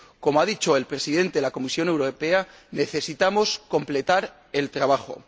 Como ha dicho el Presidente de la Comisión Europea, necesitamos completar el trabajo.